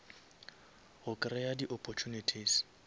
go kreya di opportunities